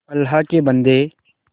अल्लाह के बन्दे